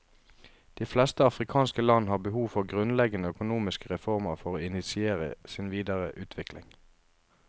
De fleste afrikanske land har behov for grunnleggende økonomiske reformer for å initiere sin videre utvikling.